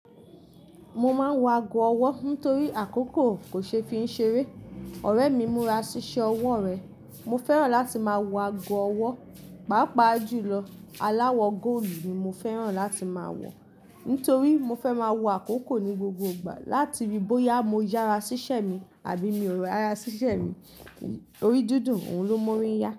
Mo máa ń wọ ago ọwọ́ nítorí àkókò kò ṣe é fi ń ṣeré. Ọ̀rẹ́ mi múra ṣíṣẹ́ ọwọ́ rẹ̀. Mo fẹ́ràn láti máa wọ ago ọwọ́, pàápàá jùlọ aláwọ̀ góòlù ni mo fẹ́ràn láti máa wọ̀. Nítorí mo fẹ́ máa wo àkókò ni gbogbo ìgbà. Látìbí bóyá mo yára ṣíṣe mi àbí mi ò rọ yára ṣíṣe mi, torí dúndún òun ló ń mú ori yá.